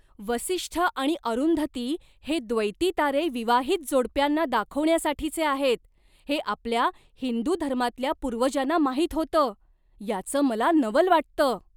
वसिष्ठ आणि अरुंधती हे द्वैती तारे विवाहित जोडप्यांना दाखवण्यासाठीचे आहेत हे आपल्या हिंदू धर्मातल्या पूर्वजांना माहीत होतं, याचं मला नवल वाटतं.